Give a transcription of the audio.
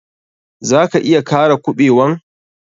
Za ka iya kara kuɓewan?